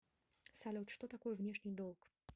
салют что такое внешний долг